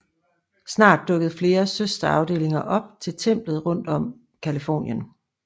Snart dukkede flere søsterafdelinger op til templet rundt om Californien